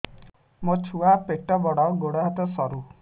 ମୋ ଛୁଆ ପେଟ ବଡ଼ ଗୋଡ଼ ହାତ ସରୁ